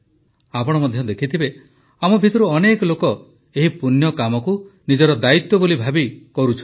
ଆପଣ ମଧ୍ୟ ଦେଖିଥିବେ ଆମ ଭିତରୁ ଅନେକ ଲୋକ ଏହି ପୁଣ୍ୟକାମକୁ ନିଜର ଦାୟିତ୍ୱ ବୋଲି ଭାବି କରୁଛନ୍ତି